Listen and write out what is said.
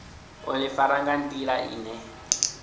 u ḓifara nga nḓila ine